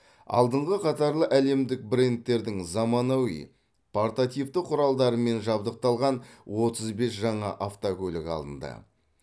алдыңғы қатарлы әлемдік брендтердің заманауи портативті құралдарымен жабдықталған отыз бес жаңа автокөлік алынды